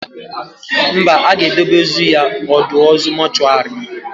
Mba, a ga-edebe ozu ya ọdọ ozu mọchụarị